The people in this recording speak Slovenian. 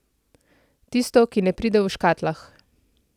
Tisto, ki ne pride v škatlah.